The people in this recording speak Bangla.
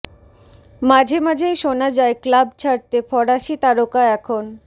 মাঝে মাঝেই শোনা যায় ক্লাব ছাড়তে ফরাসি তারকা এখন